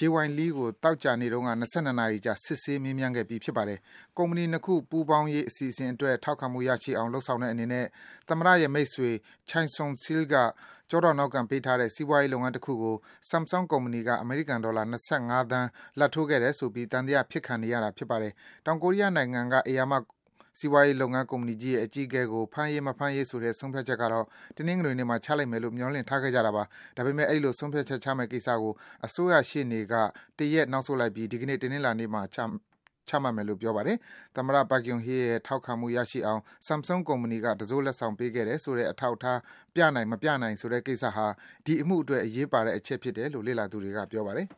Jay Y. Lee ကို သောကြာနေ့တုန်းက ၂၂ နာရီကြာ စစ်ဆေး မေးမြန်းခဲ့ပြီး ဖြစ်ပါတယ်။ ကုမ္ပဏီ ၂ ခု ပူးပေါင်းရေး အစီအစဉ်အတွက် ထောက်ခံမှု ရရှိအောင် လုပ်ဆောင်တဲ့အနေနဲ့ သမ္မတရဲ့ မိတ်ဆွေ Choi Soon-sil က ကျောထောက်နောက်ခံပေးထားတဲ့ စီးပွားရေး လုပ်ငန်းတခုကို Samsung ကုမ္ပဏီက အမေရိကန်ဒေါ်လာ ၂၅ သန်း လာဘ်ထိုးခဲ့တယ်ဆိုပြီး သံသယဖြစ်ခံနေရတာပါ။ တောင်ကိုရီးယားနိုင်ငံက ဧရာမ စီးပွားရေးကုမ္ပဏီကြီးရဲ့ အကြီးအကဲကို ဖမ်းရေး၊ မဖမ်းရေးဆိုတဲ့ ဆုံးဖြတ်ချက်ကတော့ တနင်္ဂနွေနေ့မှာ ချလိမ့်မယ်လို့ မျှော်လင့်ထားခဲ့ကြတာပါ။ ဒါပေမယ့် အဲဒီလို ဆုံးဖြတ်ချက်ချမယ့် ကိစ္စကို အစိုးရရှေ့နေက တရက် နောက်ဆုတ်လိုက်ပြီး ဒီကနေ့ တနင်္လာနေ့မှာ ချမယ်လို့ ပြောပါတယ်။ သမ္မတ Park Geun-hye ရဲ့ ထောက်ခံမှု ရရှိအောင် Samsung ကုမ္ပဏီက တံစိုးလက်ဆောင် ပေးခဲ့တယ်ဆိုတဲ့ အထောက်အထား ပြနိုင် မပြနိုင်ဆိုတဲ့ကိစ္စဟာ ဒီ အမှုအတွက် အရေးကြီးတယ်လို့ လေ့လာသူတွေက ပြောပါတယ်။